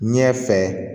Ɲɛ fɛ